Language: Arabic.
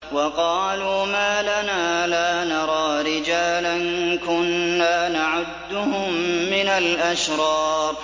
وَقَالُوا مَا لَنَا لَا نَرَىٰ رِجَالًا كُنَّا نَعُدُّهُم مِّنَ الْأَشْرَارِ